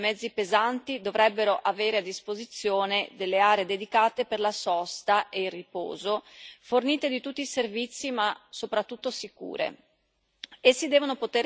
In particolare, gli autisti dei mezzi pesanti dovrebbero avere a disposizione delle aree dedicate per la sosta e il riposo, fornite di tutti i servizi ma soprattutto sicure.